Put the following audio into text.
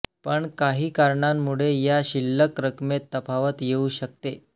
पण काही कारणांमुळे या शिल्लक रकमेत तफावत येऊ शकते